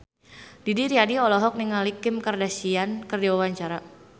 Didi Riyadi olohok ningali Kim Kardashian keur diwawancara